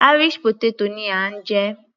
Irish potato ni à ń jẹ.